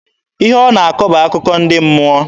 Ihe ọ na-akọ bụ akụkọ ndị mmụọ.